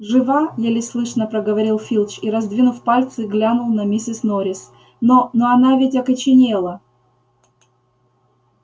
жива еле слышно проговорил филч и раздвинув пальцы глянул на миссис норрис но но она ведь окоченела